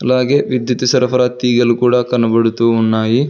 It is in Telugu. అలాగే విద్యుత్ సరఫరా తీగలు కూడా కనబడుతూ ఉన్నాయి.